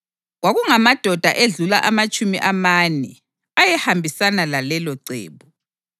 Kwakungamadoda edlula amatshumi amane ayehambisana lalelocebo.